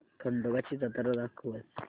खंडोबा ची जत्रा दाखवच